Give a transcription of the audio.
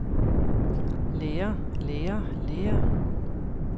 lærer lærer lærer